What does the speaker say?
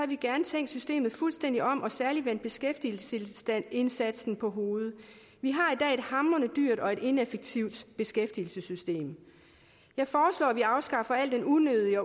vi gerne tænkt systemet fuldstændig om og særlig vendt beskæftigelsesindsatsen på hovedet vi har i dag hamrende dyrt og ineffektivt beskæftigelsessystem jeg foreslår at man afskaffer al den unødige